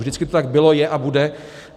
Vždycky to tak bylo, je a bude.